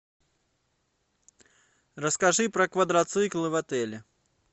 расскажи про квадроциклы в отеле